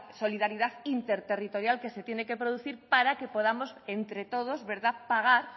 solidaridad interterritorial que se tiene que producir para que podamos entre todos pagar